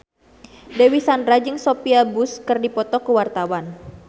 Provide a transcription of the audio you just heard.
Dewi Sandra jeung Sophia Bush keur dipoto ku wartawan